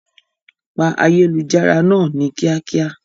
Pa ayélujára náà ni kíákíá!